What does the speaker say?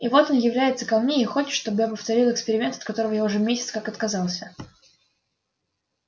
и вот он является ко мне и хочет чтобы я повторил эксперимент от которого я уже месяц как отказался